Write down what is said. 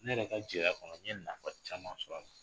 Ne yɛrɛ ka jeliya kɔnɔ n nafa caman sɔrɔ an kɔnɔ.